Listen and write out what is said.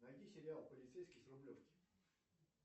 найди сериал полицейский с рублевки